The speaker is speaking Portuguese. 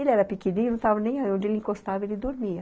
Ele era pequenininho, não estava nem ai, onde ele encostava, ele dormia.